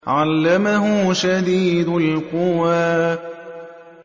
عَلَّمَهُ شَدِيدُ الْقُوَىٰ